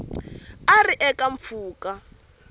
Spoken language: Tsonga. a a ri eka mpfhuka